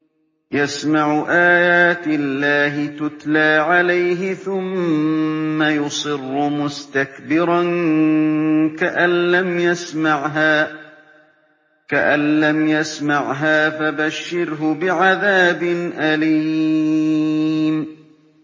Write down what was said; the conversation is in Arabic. يَسْمَعُ آيَاتِ اللَّهِ تُتْلَىٰ عَلَيْهِ ثُمَّ يُصِرُّ مُسْتَكْبِرًا كَأَن لَّمْ يَسْمَعْهَا ۖ فَبَشِّرْهُ بِعَذَابٍ أَلِيمٍ